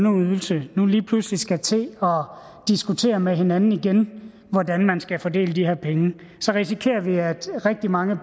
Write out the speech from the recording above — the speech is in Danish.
og ungeydelse nu lige pludselig skal til at diskutere med hinanden igen hvordan man skal fordele de her penge så risikerer vi at rigtig mange